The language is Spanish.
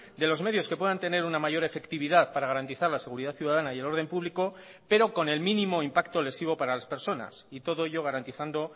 de los medios que puedan tener una mayor efectividad para garantizar la seguridad ciudadana y el orden público pero con el mínimo impacto lesivo para las personas y todo ello garantizando